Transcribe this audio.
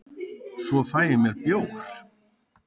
svo fæ ég mér bjór